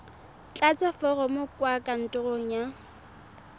tlatsa foromo kwa kantorong ya